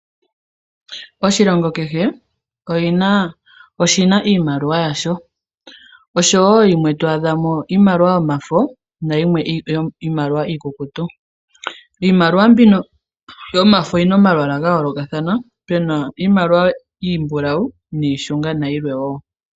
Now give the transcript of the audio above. Oshilongo kehe oshina iimaliwa yasho, oshowo yimwe to adhamo iimaliwa yomafo, niimaliwa iikukutu. Iimaliwa mbino yomafo oyina omalwaala gayooloka, puna iimaliwa iimbulawu, iishunga, nayilwe wo.